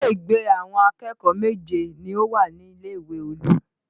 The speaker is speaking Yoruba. Ilé ìgbé àwọn akẹ́kọ̀ọ́ méje ni ó wà nílé ìwé Olú